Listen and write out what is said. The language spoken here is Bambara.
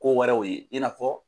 Kowɛrɛw ye i n'a fɔ